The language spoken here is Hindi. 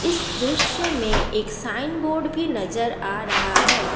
इस दृश्य में एक साइन बोर्ड भी नजर आ रहा है।